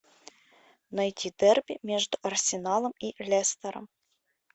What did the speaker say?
найти дерби между арсеналом и лестером